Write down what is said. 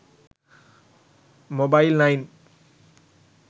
mobile9